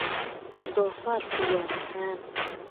Doofaarku waa macaan.